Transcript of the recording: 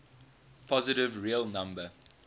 positive real number